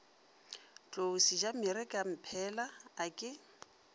tlou sejamere kamphela a ke